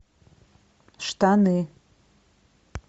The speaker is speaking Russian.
штаны